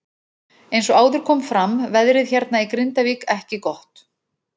Eins og áður kom fram veðrið hérna í Grindavík ekki gott.